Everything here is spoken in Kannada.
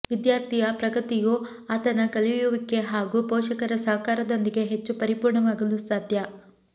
ವಿದ್ಯಾರ್ಥಿಯ ಪ್ರಗತಿಯು ಆತನ ಕಲಿಯುವಿಕೆ ಹಾಗೂ ಪೋಷಕರ ಸಹಕಾರದೊಂದಿಗೆ ಹೆಚ್ಚು ಪರಿಪೂರ್ಣವಾಗಲು ಸಾಧ್ಯ